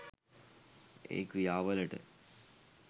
ඒ ක්‍රියා වලට